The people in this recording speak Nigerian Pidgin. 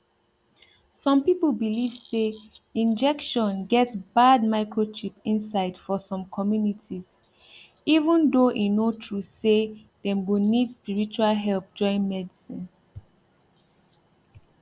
some people believe say injection get bad microchip inside for some communities even tho e no true say dem go need spiritual help join medicine